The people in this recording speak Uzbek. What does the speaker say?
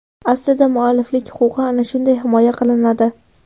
Aslida mualliflik huquqi ana shunday himoya qilinadi.